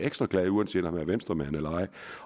ekstra glad uanset om han er venstremand eller ej